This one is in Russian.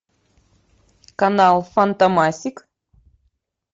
канал фантомасик